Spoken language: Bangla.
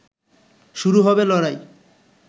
শুরু হবে লড়াই